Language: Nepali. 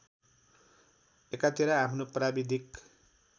एकातिर आफ्नो प्राविधिक